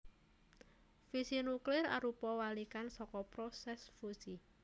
Fisi nuklir arupa walikan saka prosès fusi